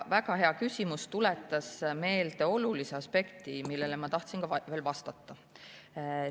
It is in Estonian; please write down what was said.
Väga hea küsimus, tuletas meelde olulise aspekti, millele ma tahtsin ka.